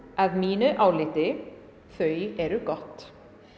að mínu áliti þau eru gott